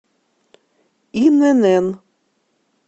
инн